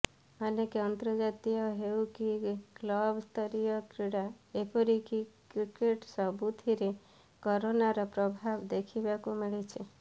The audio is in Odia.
ଅନେକ ଅନ୍ତର୍ଜାତୀୟ ହେଉ କି କ୍ଲବସ୍ତରୀୟ କ୍ରୀଡ଼ା ଏପରିକି କ୍ରିକେଟ୍ ସବୁଥିରେ କରୋନାର ପ୍ରଭାବ ଦେଖିବାକୁ ମିଳିଛି